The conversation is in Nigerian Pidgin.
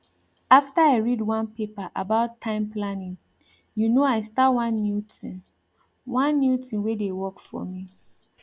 after i read one paper about time planning you know i start one new tin one new tin wey dey work for me